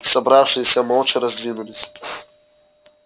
собравшиеся молча раздвинулись